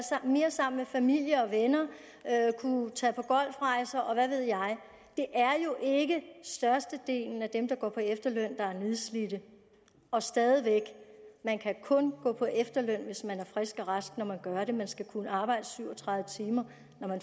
mere sammen med familie og venner at kunne tage på golfrejser og hvad ved jeg det er jo ikke størstedelen af dem der går på efterløn der er nedslidte og stadig væk man kan kun gå på efterløn hvis man er frisk og rask når man gør det man skal kunne arbejde syv og tredive timer